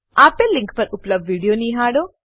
આપેલ લીંક પર ઉપલબ્ધ વિડીયો નિહાળો